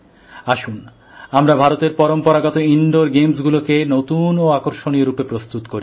আসুন আমরা ভারতের পরম্পরাগত ইনডোর গেমসগুলিকে নতুন ও আকর্ষণীয়় রূপে প্রস্তুত করি